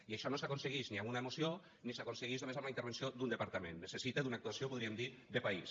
i això no s’aconseguix ni amb una moció ni s’aconseguix només amb la intervenció d’un departament necessita una actuació en podríem dir de país